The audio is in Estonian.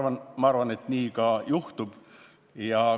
Ja ma arvan, et nii ka juhtub.